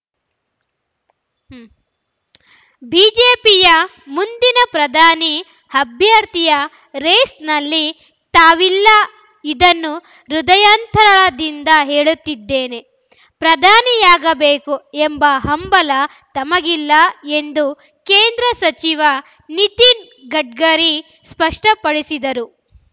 ಬಿಜೆಪಿಯ ಮುಂದಿನ ಪ್ರಧಾನಿ ಅಭ್ಯರ್ಥಿಯ ರೇಸ್‌ನಲ್ಲಿ ತಾವಿಲ್ಲ ಇದನ್ನು ಹೃದಯಾಂತರಾಳದಿಂದ ಹೇಳುತ್ತಿದ್ದೇನೆ ಪ್ರಧಾನಿಯಾಗಬೇಕು ಎಂಬ ಹಂಬಲ ತಮಗಿಲ್ಲ ಎಂದು ಕೇಂದ್ರ ಸಚಿವ ನಿತಿನ್ ಗಡ್ಕರಿ ಸ್ಪಷ್ಟಪಡಿಸಿದರು